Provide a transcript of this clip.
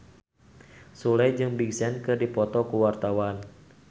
Sule jeung Big Sean keur dipoto ku wartawan